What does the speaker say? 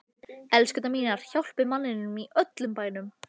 ELSKURNAR MÍNAR, HJÁLPIÐ MANNINUM Í ÖLLUM BÆNUM!